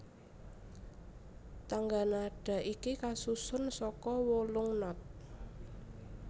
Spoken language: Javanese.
Tangga nada iki kasusun saka wolung not